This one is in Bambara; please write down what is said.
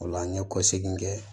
O la an ye kɔsegin kɛ